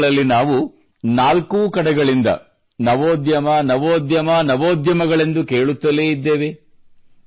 ಇಂದಿನ ದಿನಗಳಲ್ಲಿ ನಾವು ನಾಲ್ಕೂ ಕಡೆಗಳಿಂದ ನವೋದ್ಯಮ ನವೋದ್ಯಮ ನವೋದ್ಯಮಗಳೆಂದು ಕೇಳುತ್ತಲೇ ಇದ್ದೇವೆ